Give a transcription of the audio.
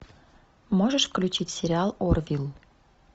можешь включить сериал орвилл